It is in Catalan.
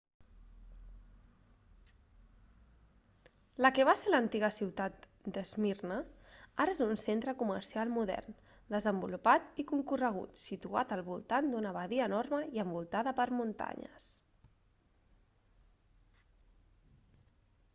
la que va ser l'antiga ciutat d'esmirna ara és un centre comercial modern desenvolupat i concorregut situat al voltant d'una badia enorme i envoltada per muntanyes